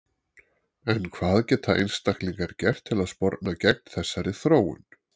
En hvað geta einstaklingar gert til að sporna gegn þessari þróun?